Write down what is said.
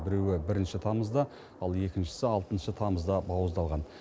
біреуі бірінші тамызда ал екіншісі алтыншы тамызда бауыздалған